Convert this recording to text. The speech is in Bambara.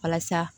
Walasa